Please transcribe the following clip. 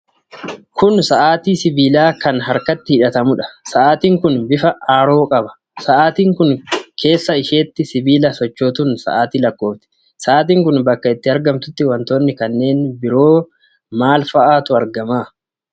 Kun sa'aatii sibiilaa kan harkatti hidhatamuudha. Sa'aatiin kun bifa Arrowa qaba. Sa'aatiin kun keessa isheetii sibiila sochootuun sa'aatii lakkoofti. Sa'aatiin kun bakka itti argamtutti wantoonni kanneen biroo maa faa'atu argama?